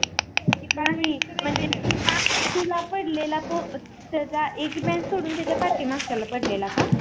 नाही म्हणजे तुला तूला पडलेला तो एक meant पडून त्याच्या पाठी मागच्या पढलेला का?